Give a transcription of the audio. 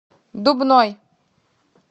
дубной